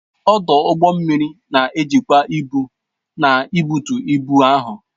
ọdụ ụgbọ mmiri na-ejikwa ibu na ibutu ibu ahụ